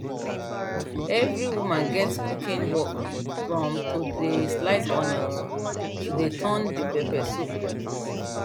every woman gets cooking work from to dey slice onions to dey turn the pepper soup